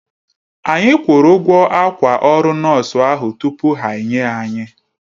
Anyi kwuru ụgwọ akwa ọrụ nọọsụ ahụ tupu ha enye anyi